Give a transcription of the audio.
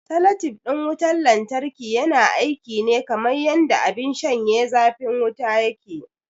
Salatif ɗin wutar lantarki yana aiki ne kamar yanda abin shanye zafin wuta yake yi.